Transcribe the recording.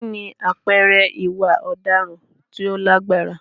Kí ni àpẹẹrẹ ìwà ọ̀daràn tó lágbára?